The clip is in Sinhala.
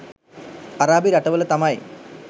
අරාබි රටවල තමයි